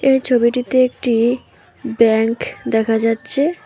এই ছবিটিতে একটি ব্যাঙ্ক দেখা যাচ্ছে।